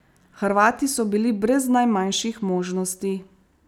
Hrvati so bili brez najmanjših možnosti.